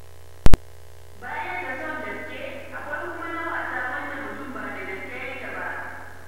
Baya ga son gaske, akwai kuma na wasa, wanda mutum ba da gaske yake ba.